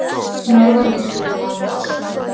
Norðanvindur um land allt